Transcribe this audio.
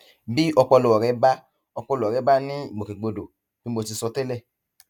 bí ọpọlọ rẹ bá ọpọlọ rẹ bá ní ìgbòkègbodò bí mo ti sọ tẹlẹ